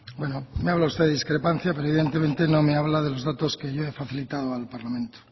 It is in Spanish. bueno me habla de usted de discrepancia pero evidentemente no me habla de los datos que yo he facilitado al parlamento